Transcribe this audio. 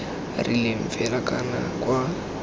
rileng fela kana c kwa